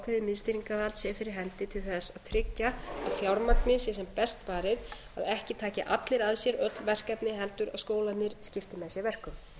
ákveðið miðstýringarvald sé fyrir hendi til þess að tryggja að fjármagni sé sem best varið og að ekki taki allir að sér öll verkefni heldur að skólarnir skipti með sér verkum